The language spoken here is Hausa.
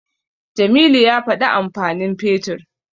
Jamilu ya faɗi amfanin Fetur.